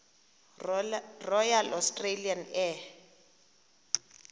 royal australian air